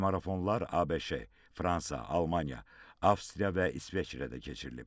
Telemarafonlar ABŞ, Fransa, Almaniya, Avstriya və İsveçrədə də keçirilib.